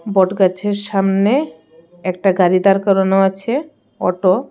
বটগাছের সামনে একটা গাড়ি দাঁড় করানো আছে অটো .